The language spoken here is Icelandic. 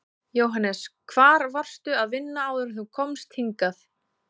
Jóhannes: Hvar varstu að vinna áður en þú komst hingað?